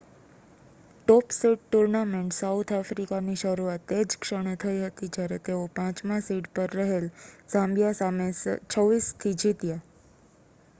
ટોપ seed tournament South આફ્રિકાની શરૂઆત તે જ ક્ષણે થઈ હતી જ્યારે તેઓ 5 માં સીડ પર રહેલ ઝામ્બિયા સામે 26 - 00 થી જીત્યા